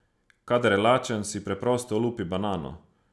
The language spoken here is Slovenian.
Kadar je lačen, si preprosto olupi banano.